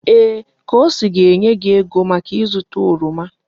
Ee! Kosi ga-enye gị ego maka ịzụta oroma.